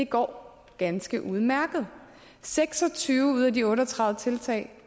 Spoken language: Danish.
går ganske udmærket seks og tyve ud af de otte og tredive tiltag